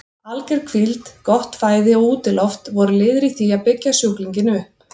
Alger hvíld, gott fæði og útiloft voru liðir í því að byggja sjúklinginn upp.